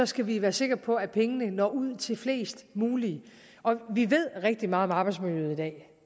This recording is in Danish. skal vi være sikre på at pengene når ud til flest muligt vi ved rigtig meget om arbejdsmiljøet i dag